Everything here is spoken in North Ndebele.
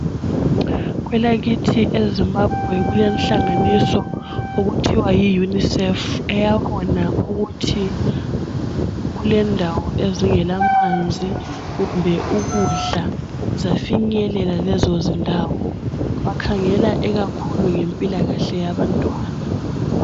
Kwelakithi eZimbabwe kulenhlanganiso okuthiwa yi unicef eyabona ukuthi kulendawo ezingela manzi kumbe ukudla zafinyelela lezo zindawo bakhangela ikakhulu ngempilakahle abantwana .